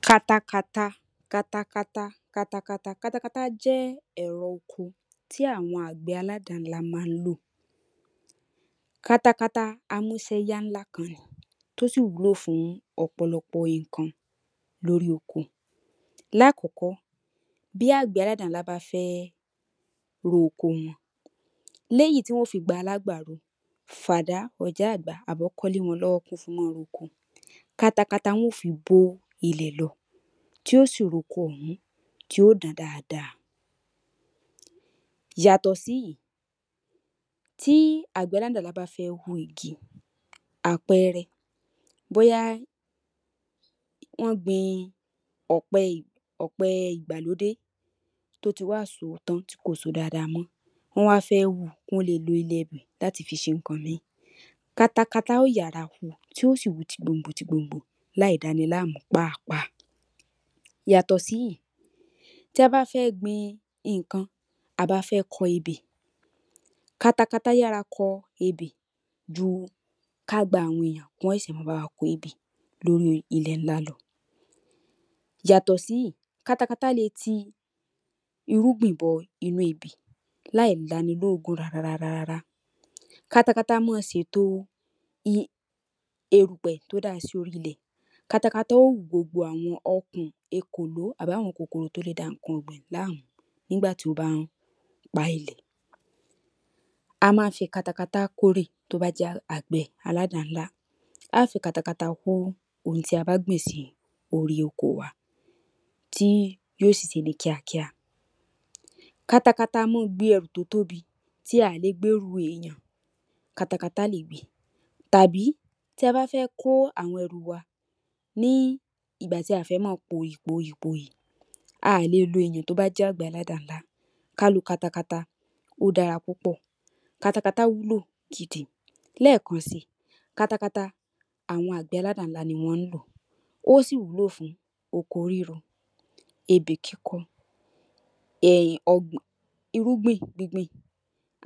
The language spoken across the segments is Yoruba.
Katakata, katakata, katakata. Katakata jẹ ẹ̀rọ oko tí àwọn àgbẹ̀ aládàá ńlá ma ń lò. Katakata a múṣẹ́ yá ńlá kan ni tí ó sì wúlò fún ọ̀pọ̀lọpò nǹkan lóri oko. Lákọ̀ọ́kọ́ bí àgbẹ̀ aládàá ńlá bá fẹ́ ro oko wọn, ní èyí tí wọn yóò fi gba alágbàro tí wọ́n ma fa àda tàbí ọkọ́ lé wọn lọ́wọ́ kí wọ́n fi má a ro oko, katakata ni wọn yóò fi bó ilẹ̀ lo tí yóò sì roko òhún tí yóò dán dáadáa. Yàtọ̀ sí èyí, tí àgbẹ̀ aládàá ńlá bá fẹ́ wu igi àpẹẹrẹ, bóyá wọ́n gbin ọ̀pẹ ìgbàlódé tí ó ti wá so tán tí kò so dáadáa mọ́, wọ́n wá fẹ́ wu kí wọ́n le è lo ilẹ̀ ibẹ̀ láti fi ṣe nǹkan ìmíì, katakata yóò yára wu yóò sì wu ti gbòngbò ti gbòngbò láì dani láàmú páàpáà. Yàtọ̀ sí èyí, tí a bá fẹ́ gbin nǹkan, à bí a fẹ́ kọ ebè, katakata yára kọ ebè ju ká gba àwọn èèyàn kí wọ́n ṣẹ̀ṣẹ̀ ma kọ ebè lórí ilẹ̀ ńlá lọ. Yàtọ̀ sí èyí, katakata lè ti irúgbiǹ bọnú ebè láì lani lóòógùn rárárárá. Katakata má ṣe ètò erùpẹ̀ tí ó da sí orí ilẹ̀, katakata yóò wú gbogbo àwọn ọkùn, èkòló àbí àwọn kòkòrò tí ó lè da nǹkan ọ̀gbìn láàmú nígbà tí ó bá ń pa ilẹ̀. A má ń fi katakata kórè tó bá jé àgbẹ̀ aládàá ńlá, a ó fi katakata kó ohun tí a bá gbìn sí orí oko wa tí yóò sì ṣe é ní kíákíá. Katakata ma gbé ẹrù tí ó tóbi tí a ò lè gbé ru èèyàn, katakata lè gbe tàbí tí a bá fẹ́ kó àwọn ẹrù wa ní ìgbà tí a ò fẹ́ ma pòyì pòyì pòyì, a ò le lo èèyàn tí ó bá jẹ́ àgbẹ̀ aládàá ńlá, kí a lo katakata, ó dára púpọ̀. Katakata wúlò gidi, léèkan si katakata àwọn àgbẹ̀ aládàá ńlá ni wọ́n ń lò ó, ó sì wúlò fún oko ríro, ebè kíkọ, irúgbìn gbíngbìn,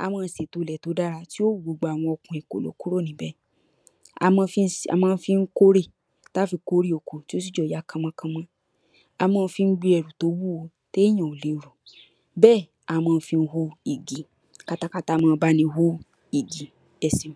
á máa sì to ilẹ̀ tí ó dára tí ó wú gbogbo àwọn ọkùn, èkòló kúrò níbè. A má ń fi kórè, tí a fí kórè oko tí ó sì jẹ́ kí ó yá kọ́mọ́kọ́mọ́, a má ń fi gbé ẹrù tó wúwo tí èèyàn ò le rù, bẹ́ ẹ̀ a má ń fi wó igi, katakata ma ń báni wó igi, ẹ ṣeun.